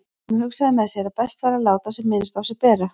Hún hugsaði með sér að best væri að láta sem minnst á sér bera.